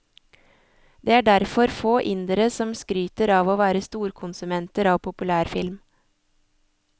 Det er derfor få indere som skryter av å være storkonsumenter av populærfilm.